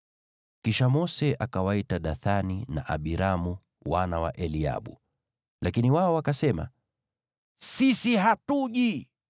Kisha Mose akawaita Dathani na Abiramu, wana wa Eliabu. Lakini wao wakasema, “Sisi hatuji!